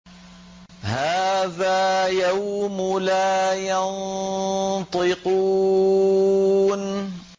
هَٰذَا يَوْمُ لَا يَنطِقُونَ